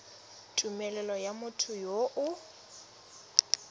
tumelelo ya motho yo o